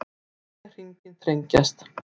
Segja hringinn þrengjast